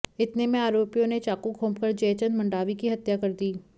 इतने में आरोपियों ने चाकू घोंपकर जयचंद मंडावी की हत्या कर दी